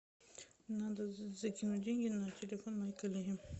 надо закинуть деньги на телефон моей коллеги